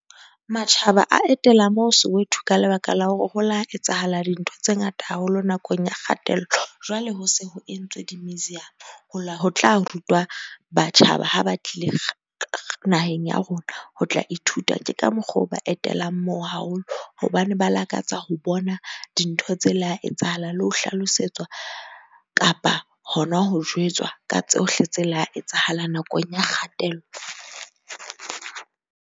Matjhaba a etela moo Soweto ka lebaka la hore ho la etsahala dintho tse ngata haholo nakong ya kgatello. Jwale ho se ho entswe di-museum, ho la ho tla rutwa batjhaba ha ba tlile naheng ya rona ho tla ithuta. Ke ka mokgo o ba etelang moo haholo hobane ba lakatsa ho bona dintho tse la etsahala le ho hlalosetswa kapa hona ho jwetswa ka tsohle tse la etsahala nakong ya kgatello.